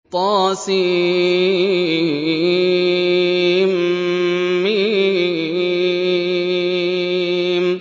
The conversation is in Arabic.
طسم